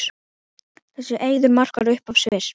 Þessi eiður markar upphaf Sviss.